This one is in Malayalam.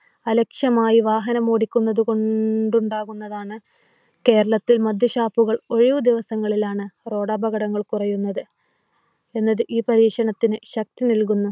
അലക്ഷ്യമായി വാഹനങ്ങൾ ഓടിക്കുന്നത് കൊണ്ടുണ്ടാകുന്നതാണ്. കേരളത്തിൽ മദ്യഷാപ്പുകൾ ഒഴിവ് ദിവസങ്ങളിലാണ് Road അപകടങ്ങൾ കുറയുന്നത് എന്നത് ഈ പരീക്ഷണത്തിന് ശക്തി നൽകുന്നു.